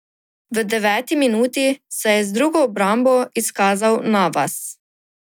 V deveti minuti se je z drugo obrambo izkazal Navas.